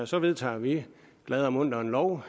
så vedtager vi glade og muntre en lov